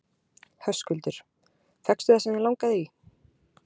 Höskuldur: Fékkstu það sem þig langaði í?